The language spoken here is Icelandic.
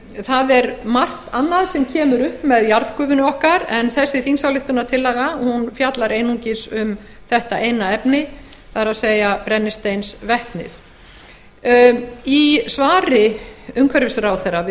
það er margt annað sem kemur upp með jarðgufunni okkar en þessi þingsályktunartillaga fjallar einungis um þetta eina efni brennisteinsvetnið í svari umhverfisráðherra við